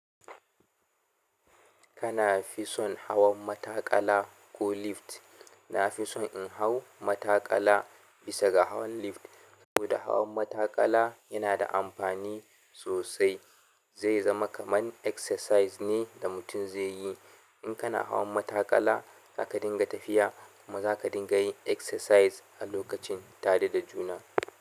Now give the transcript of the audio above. Kana fi son hawan mataƙala ko lift? Na fi son in hau mataƙala bisa ga hawan lift domin hawan mataƙala yana da amfani sosai. Zai zama kaman exercise ne da mutum zai yi. In kana hawan matakala zata dinga tafiya kuma zaka dinga yin exercise tare da juna.